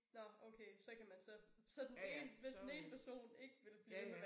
Nåh okay så kan man så så den ene hvis den ene person ikke vil blive ved med at være